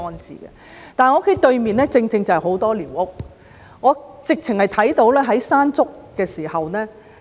之前，我家對面正正有很多寮屋，我曾看到颱風"山竹"對寮屋的影響。